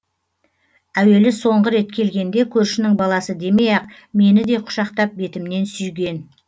әуелі соңғы рет келгенде көршінің баласы демей ақ мені де құшақтап бетімнен сүйген